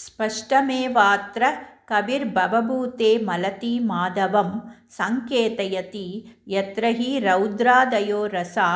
स्पष्टमेवाऽत्र कविर्भवभूतेमलतीमाधवं सङ्केतयति यत्र हि रौद्रादयो रसा